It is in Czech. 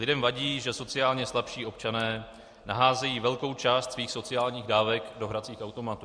Lidem vadí, že sociálně slabší občané naházejí velkou část svých sociálních dávek do hracích automatů.